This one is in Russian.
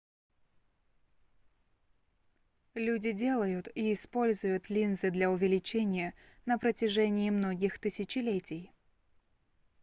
люди делают и используют линзы для увеличения на протяжении многих тысячелетий